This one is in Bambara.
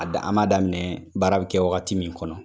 A da an m'a daminɛ baara bɛ kɛ wagati min kɔnɔ